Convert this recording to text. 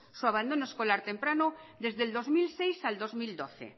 su abandono escolar temprano desde el dos mil seis al dos mil doce